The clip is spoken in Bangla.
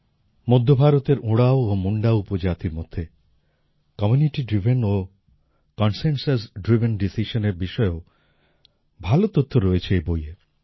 মধ্য ভারতের ওড়াঁও ও মুন্ডা উপজাতির মধ্যে কমিউনিটি ড্রাইভেন ও কনসেনসাস ড্রাইভেন decisionএর বিষয়েও ভালো তথ্য রয়েছে এই বইয়ে